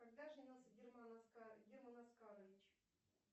когда женился герман оскарович